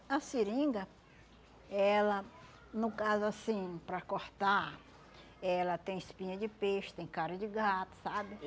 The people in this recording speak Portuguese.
a seringa, ela, no caso assim, para cortar, ela tem espinha de peixe, tem cara de gato, sabe?